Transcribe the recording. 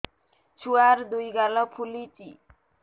ଛୁଆର୍ ଦୁଇ ଗାଲ ଫୁଲିଚି